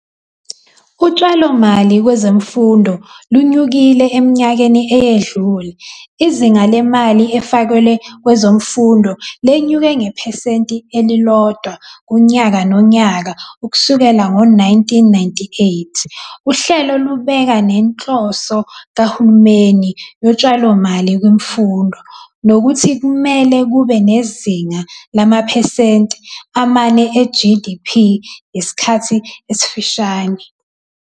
Utshalomali kwezemfundo lunyukile eminyakeni eyedlule, izinga lemali efakelwe kwezemfundo lenyuke ngephesenti elilodwa kunyaka nonyaka ukusukela ngo 1998. Uhlelo lubeka nenhloso kahulumeni yotshalomali kwimfundo, nokuthi kumele kube ngezinga lamaphesenti amane e-GDP ngesikhathi esifishane.